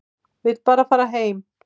Vill bara fara heim.